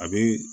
A be